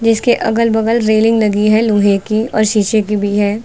इसके अगल बगल रेलिंग लगी है लोहे की और शीशे की भी है।